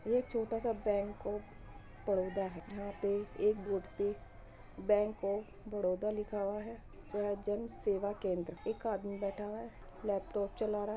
ये छोटा सा बैंक ऑफ़ बड़ौदा है। यहां पे एक बोर्ड पे बैंक ऑफ़ बड़ौदा लिखा हुआ है सहज जन सेवा केंद्र एक आदमी बैठा हुआ है लैपटॉप चला रहा है।